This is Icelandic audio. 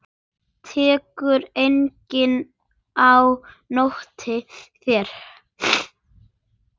Tekur enginn á móti þér?